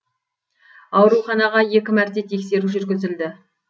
ауруханаға екі мәрте тексеру жүргізілді